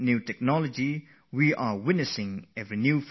We get to see new facets of science all the time